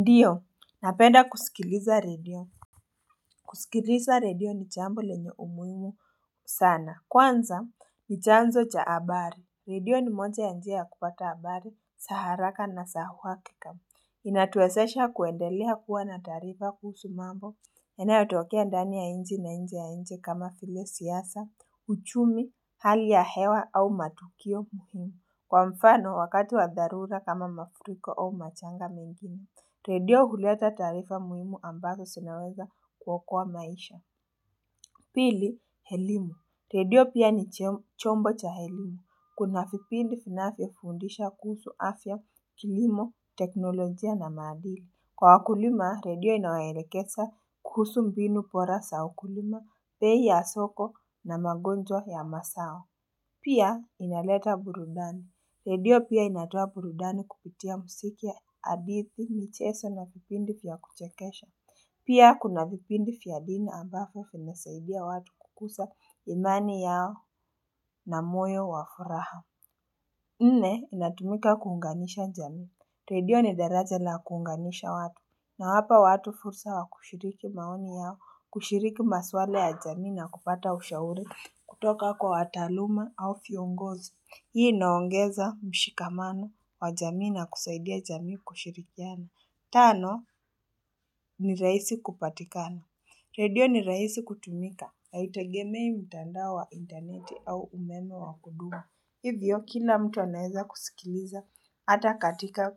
Radio napenda kusikiliza radio kusikiliza radio ni jambo lenye umuhimu sana kwanza ni chanzo cha abari radio ni moja ya njia ya kupata abari saharaka na sa uhakika Inatuwesesha kuendelea kuwa na taarifa kuhusu mambo yana yotokea ndani ya inji na inje ya inji kama file siasa, uchumi, hali ya hewa au matukio muhimu Kwa mfano wakati wa dharura kama mafuriko au machanga mingine Redio huleta tarifa muhimu ambazo sinaweza kuokoa maisha. Pili, elimu Redio pia ni chombo cha elimu. Kuna vipindi finafyo fundisha kuhusu afya kilimo teknolojia na maadili. Kwa wakulima, redio inawelekesa kuhusu mbinu pora sa ukulima, pei ya soko na magonjwa ya masao. Pia, inaleta burudani. Redio pia inatoa burudani kupitia musiki ya hadithi micheso na vipindi fya kuchekesha. Pia kuna vipindi fya dini ambafo fimesaidia watu kukusa imani yao na moyo wafuraha. Nne, inatumika kuunganisha jamii. Redio ni daraja na kuunganisha watu. Inawapa watu fursa wa kushiriki maoni yao, kushiriki maswala ya jamii na kupata ushaure. Kutoka kwa wataaluma au fiongozi. Hii inaongeza mshikamano wa jamii na kusaidia jamii kushirikiana. Tano, ni raisi kupatikana. Radio ni raisi kutumika. Haitegemei mtandao wa interneti au umeme wa kudua. Hivyo, kila mtu anaeza kusikiliza ata katika